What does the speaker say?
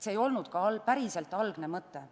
See ei olnud algne mõte.